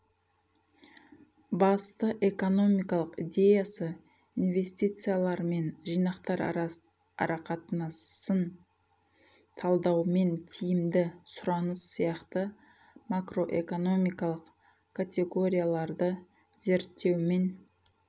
басты экономикалық идеясы инвестициялар мен жинақтар арақатынасын талдаумен тиімді сұраныс сияқты макроэкономикалық категорияларды зерттеумен